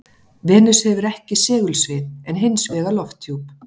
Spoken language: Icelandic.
Venus hefur ekki segulsvið, en hins vegar lofthjúp.